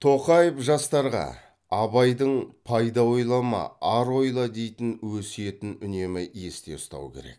тоқаев жастарға абайдың пайда ойлама ар ойла дейтін өсиетін үнемі есте ұстау керек